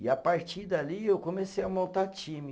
E a partir dali eu comecei a montar time.